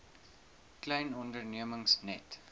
klein ondernemings net